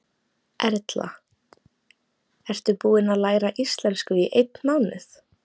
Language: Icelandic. Erla: Ertu búin að læra íslensku í einn mánuð?